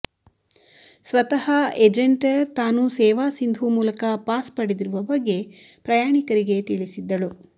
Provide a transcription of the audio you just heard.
ಸ್ವತಃ ಎಜೆಂಟರ್ ತಾನು ಸೇವಾ ಸಿಂಧೂ ಮೂಲಕ ಪಾಸ್ ಪಡೆದಿರುವ ಬಗ್ಗೆ ಪ್ರಯಾಣಿಕರಿಗೆ ತಿಳಿಸಿದ್ದಳು